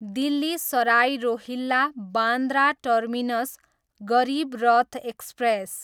Delhi Sarai Rohilla, Bandra terminus Garib Rath express